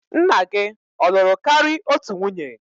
Nna gi ọ lụrụ kari otu nwunye?